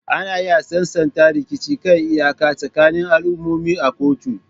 Ana iya sasanta rikicin kan iyaka tsakanin al'ummomi a kotu.